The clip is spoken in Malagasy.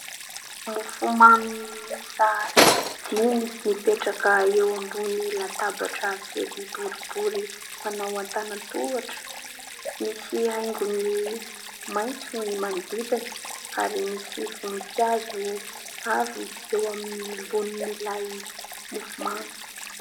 Mofomamy miisa dimy mipetraka eo ambony latabatra kely boribory manao an-tànan-tohatra. Misy haingony maitso ny manodidina ary misy voninkazo avy eo ambonin'ilay mofomamy.